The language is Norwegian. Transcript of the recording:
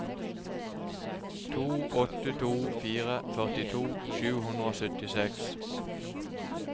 to åtte to fire førtito sju hundre og syttiseks